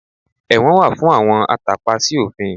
Ẹ̀wọ̀n wà fún àwọn atàpa sí òfin